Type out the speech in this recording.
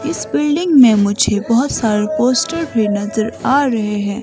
इस बिल्डिंग में मुझे बहोत सारे पोस्टर भी नजर आ रहे हैं।